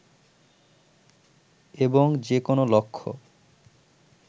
এবং যে কোনো লক্ষ্য